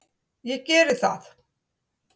Ég gerði það.